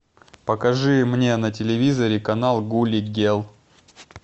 покажи мне на телевизоре канал гулли герл